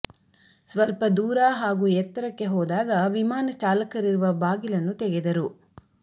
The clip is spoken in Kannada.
ಸ್ವಲ್ಪ ದೂರ ಹಾಗೂ ಎತ್ತರಕ್ಕೆ ಹೋದಾಗ ವಿಮಾನ ಚಾಲಕರಿರುವ ಬಾಗಿಲನ್ನು ತೆಗೆದರು